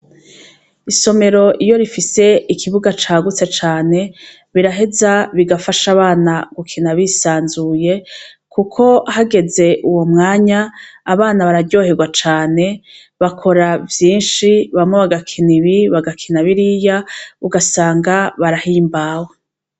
Isomero iyo rifise ikibuga cagutse cane biraheza bigafasha abana gukina bisanzuye, kuko hageze uwo mwanya abana bararyoherwa cane bakora vyinshi bamwe bagakina ibi bagakina biriya ugasanga barahimbawe.